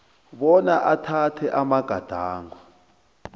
bona athathe amagadango